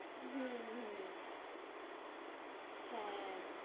হুঁ হুঁ হ্যাঁ